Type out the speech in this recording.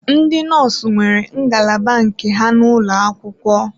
Ndị nọọsụ nwere ngalaba nke ha n'ụlọ akwụkwọ.